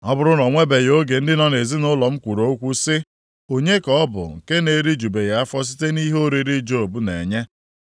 Ọ bụrụ na o nwebeghị oge ndị nọ nʼezinaụlọ m kwuru okwu sị. ‘Onye ka ọ bụ nke na-erijubeghị afọ site nʼihe oriri Job na-enye?’